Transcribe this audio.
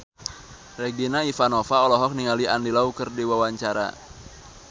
Regina Ivanova olohok ningali Andy Lau keur diwawancara